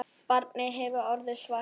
Barnið hefði því orðið svart.